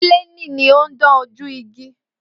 Píléènì ni ó ń dán ojú igi